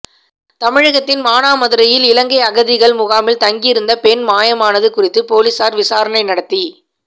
தமிழகத்தின் மானாமதுரையில் இலங்கை அகதிகள் முகாமில் தங்கியிருந்த பெண் மாயமானது குறித்து பொலிஸார் விசாரணை நடத்தி